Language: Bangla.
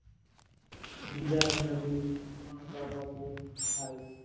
দিদা দাদু মা বাবা বোন ভাই